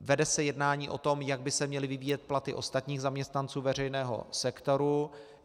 Vede se jednání o tom, jak by se měly vyvíjet platy ostatních zaměstnanců veřejného sektoru.